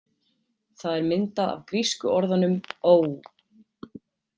Það er myndað af grísku orðunum ou.